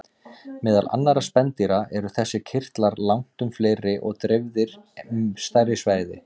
Meðal annarra spendýra eru þessir kirtlar langtum fleiri og dreifðir um stærra svæði.